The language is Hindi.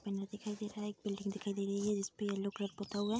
बैनर दिखाई दे रहा है एक बिल्डिंग दिखाई दे रही है जिसपे येल्लो कलर पुता हुआ --